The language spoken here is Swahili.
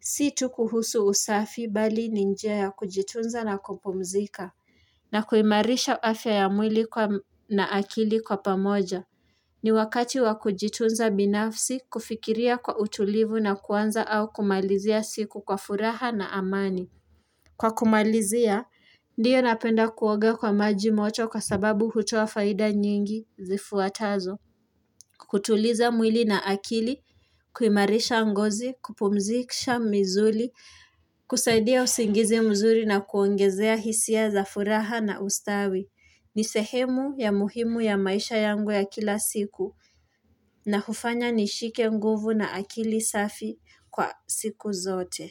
Si tu kuhusu usafi bali ni njia ya kujitunza na kupumzika. Na kuimarisha afya ya mwili na akili kwa pamoja. Ni wakati wa kujitunza binafsi kufikiria kwa utulivu na kuanza au kumalizia siku kwa furaha na amani. Kwa kumalizia, ndiyo napenda kuoga kwa maji moto kwa sababu hutoa faida nyingi zifuatazo. Kutuliza mwili na akili, kuimarisha ngozi, kupumzisha misuli, kusaidia usingizi mzuri na kuongezea hisia za furaha na ustawi. Ni sehemu ya muhimu ya maisha yangu ya kila siku na hufanya nishike nguvu na akili safi kwa siku zote.